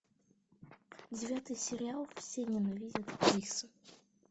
девятый сериал все ненавидят криса